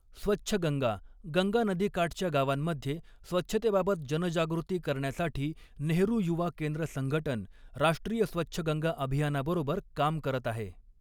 स्वच्छ गंगा गंगा नदीकाठच्या गावांमध्ये स्वच्छतेबाबत जनजागृती करण्यासाठी नेहरु युवा केंद्र संघटन, राष्ट्रीय स्वच्छ गंगा अभियानाबरोबर काम करत आहे.